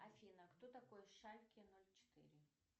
афина кто такой шальке ноль четыре